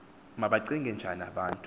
mabacinge njani abantu